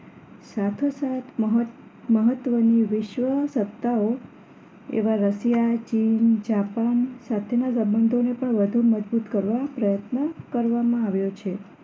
સાથ સાથ મહોત મહત્ત્વની વિશ્વસત્તાઓ એવા રસિયા ચીન જાપાન સાથેના સંબંધોને પણ વધુ મજબૂત કરવા પ્રયત્ન કરવામાં આવ્યો છે